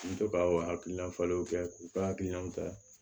N bɛ to ka hakilina falenw kɛ k'u ka hakilinaw ta